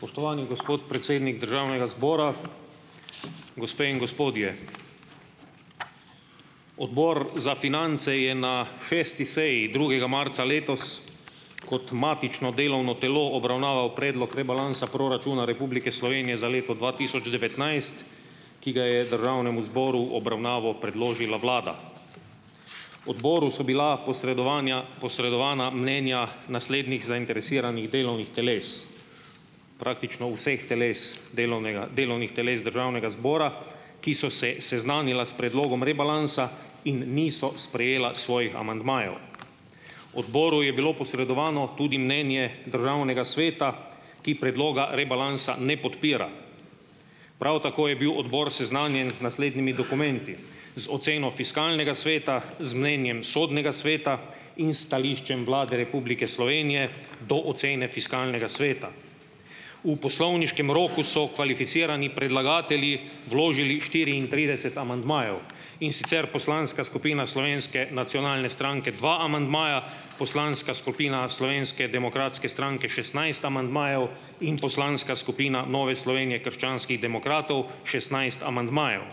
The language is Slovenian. Spoštovani gospod predsednik državnega zbora, gospe in gospodje! Odbor za finance je na šesti seji drugega marca letos kot matično delovno telo obravnaval predlog rebalansa proračuna Republike Slovenije za leto dva tisoč devetnajst, ki ga je državnemu zboru v obravnavo predložila vlada. Odboru so bila posredovanja posredovana mnenja naslednjih zainteresiranih delovnih teles, praktično vseh teles delovnega delovnih teles državnega zbora, ki so se seznanila s predlogom rebalansa in niso sprejela svojih amandmajev. Odboru je bilo posredovano tudi mnenje državnega sveta, ki predloga rebalansa ne podpira. Prav tako je bil odbor seznanjen z naslednjimi dokumenti: z oceno Fiskalnega sveta, z mnenjem Sodnega sveta in s stališčem Vlade Republike Slovenije do ocene Fiskalnega sveta. V poslovniškem roku so kvalificirani predlagatelji vložili štiriintrideset amandmajev, in sicer poslanska skupina Slovenske nacionalne stranke dva amandmaja, poslanska skupina Slovenske demokratske stranke šestnajst amandmajev in poslanska skupina Nove Slovenije - Krščanskih demokratov šestnajst amandmajev.